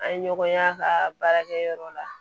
An ye ɲɔgɔn ye a ka baarakɛ yɔrɔ la